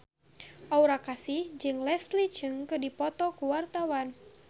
Aura Kasih jeung Leslie Cheung keur dipoto ku wartawan